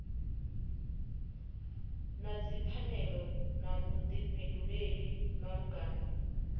na dzipfanelo na vhuḓifhinduleli malugana